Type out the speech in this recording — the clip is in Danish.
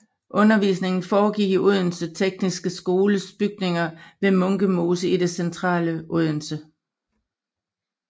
Undervisningen foregik i Odense Tekniske Skoles bygninger ved Munke Mose i det centrale Odense